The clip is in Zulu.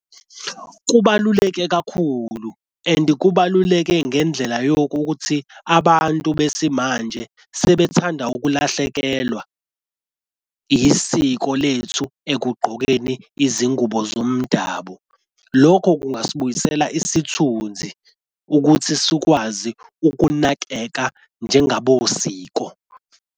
Kubaluleke kakhulu and kubaluleke ngendlela yokuthi abantu besimanje sebethanda ukulahlekelwa isiko lethu ekugqokeni izingubo zomdabu. Lokho kungasibuyisela isithunzi ukuthi sikwazi ukunakeka njengabosiko.